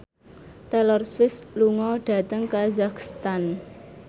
Taylor Swift lunga dhateng kazakhstan